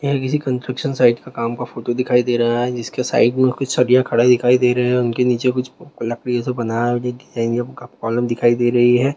यह किसी construction side का काम का फोटो दिखाई दे रहा है जिसके साइड में कुछ सडीया खड़ा दिखाई दे रहे हैं और उनके नीचे कुछ ल लकड़ी ओ से बनाया हुया डिजाइन इया उनका कॉलम दिखाई दे रही है।